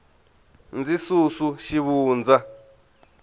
ndzi susu xivundza